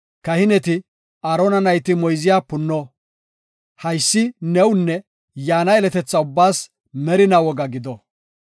Kahineti, Aarona nayti moyze punno. Haysi newunne yaana yeletetha ubbaas merina woga gido.